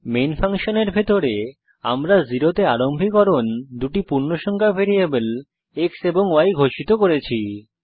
main ফাংশনের ভিতরে আমরা 0 তে আরম্ভীকরণ দুটি পূর্ণসংখ্যা ভ্যারিয়েবল x এবং y ঘোষিত করেছি